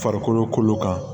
Farikolo kolo kan